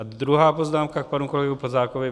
A druhá poznámka k panu kolegovi Plzákovi.